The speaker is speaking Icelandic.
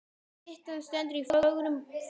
Styttan stendur í fögrum boga.